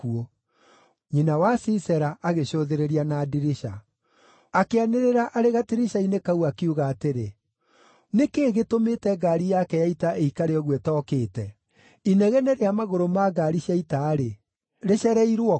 “Nyina wa Sisera agĩcũthĩrĩria na ndirica; akĩanĩrĩra arĩ gatirica-inĩ kau, akiuga atĩrĩ, ‘Nĩ kĩĩ gĩtũmĩte ngaari yake ya ita ĩikare ũguo ĩtookĩte? inegene rĩa magũrũ ma ngaari cia ita-rĩ, rĩcereirwo kũ?’